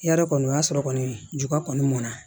Yarɔ kɔni o y'a sɔrɔ kɔni juba kɔni mɔnna